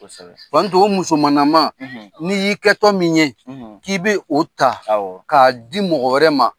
Kosɛbɛ, Lamunu, o musolaman , n' i y'i kɛ tɔ min ye k'i bɛ o ta k'a di mɔgɔ wɛrɛ ma.